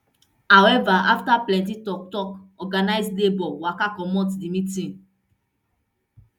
however afta plenty toktok organised labour waka comot di meeting